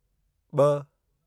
ॿ